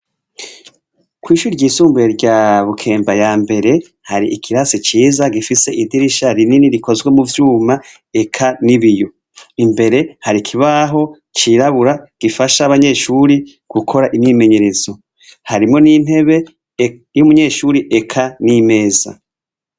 Kw'ishuri ryisumbuye rya Bukemba ya mbere, har'ikirasi ciza gifise idirisha rinini rikozwe mu vyuma, eka n'ibiyo. Imbere, hari ikibaho cirabura gifasha abanyeshuri gukora imyimenyerezo. Harimwo n'intebe y'umunyeshure eka n'imeza.